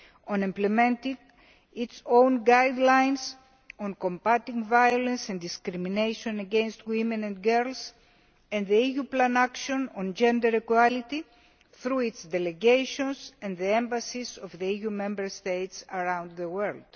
on implementing its own guidelines on combating violence and discrimination against women and girls and the EU Plan of Action on Gender Equality, through its delegations and the embassies of the EU Member States around the world.